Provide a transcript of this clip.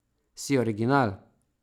Si original.